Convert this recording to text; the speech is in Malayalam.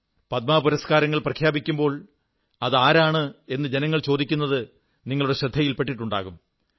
പത്മ പുരസ്കാരങ്ങളെക്കുറിച്ച് പ്രഖ്യാപിക്കുമ്പോൾ അതാരാണ്് എന്ന് ജനങ്ങൾ ചോദിക്കുന്നത് നിങ്ങളുടെ ശ്രദ്ധയിൽ പെട്ടിട്ടുണ്ടാകും